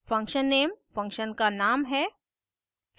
function _ name function का name है